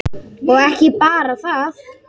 Og ekki bara það: